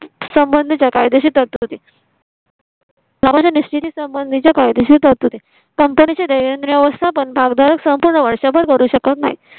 संबंधीच्या कायदेशीर तरतुदी. निश्चिती संबंधीच्या कायदेशीर तरतुदी company च्या व्यवस्थापन भागधारक संपूर्ण वर्षभर भरू शकत नाही